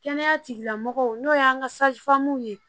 Kɛnɛya tigilamɔgɔw n'o y'an ka ye